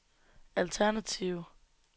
alternative